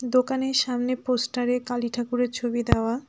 দোকানের সামনে পোস্টার -এ কালী ঠাকুরের ছবি দেওয়া।